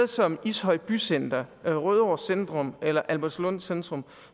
som ishøj bycenter rødovre centrum eller albertslund centrum